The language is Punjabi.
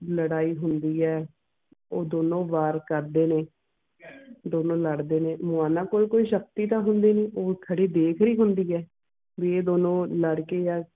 ਲੜਾਈ ਹੁੰਦੀ ਆ ਉਹ ਦੋਨੋ ਵਾਰ ਕਰਦੇ ਨੇ ਦੋਨੋ ਲੜ ਦੇ ਨੇ ਮਿਆਮਾ ਕੋਲ ਤਾਂ ਕੋਈ ਸ਼ਕਤੀ ਹੁੰਦੀ ਨੀ ਉਹ ਖੜੀ ਦੇਖਰੀ ਹੁੰਦੀ ਆ ਵੀ ਇਹ ਦੋਨੋ ਲੜ ਦੇ ਆ